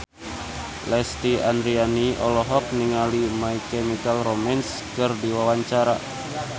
Lesti Andryani olohok ningali My Chemical Romance keur diwawancara